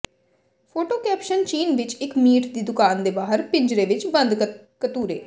photo caption ਚੀਨ ਵਿੱਚ ਇੱਕ ਮੀਟ ਦੀ ਦੁਕਾਨ ਦੇ ਬਾਹਰ ਪਿੰਜਰੇ ਵਿੱਚ ਬੰਦ ਕਤੂਰੇ